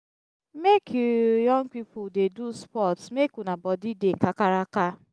make you young pipu dey do sports make una body dey kakaraka.